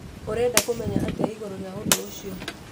Ũreda kũmenya atĩa ĩgũrũ rĩa ũdũ ũcĩo?